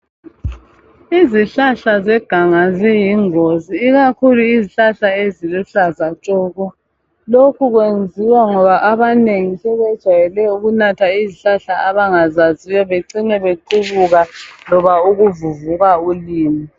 Izihlahla zeganga ziyingozi. Ikakhulu izihlahla eziluhlaza tshoko!! Lokhu kwenziwa ngoba abanengi sebejayele ukunatha izihlahla abangazaziyo. Becine bequbuka , loba ukuvuvuka ulimi.